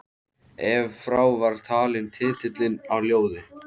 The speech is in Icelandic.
Ef frá var talinn titillinn á ljóði